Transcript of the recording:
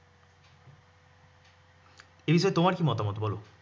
এ বিষয়ে তোমার কি মতামত বল?